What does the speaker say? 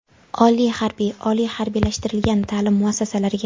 oliy harbiy, oliy harbiylashtirilgan taʼlim muassasalariga;.